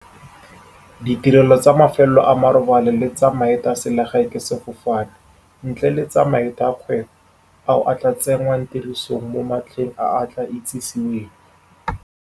Ditirelo tsa mafelo a marobalo le tsa maeto a selegae ka sefofane, ntle le tsa maeto a kgwebo, ao a tla tsenngwang tirisong mo matlheng a a tla itsiseweng.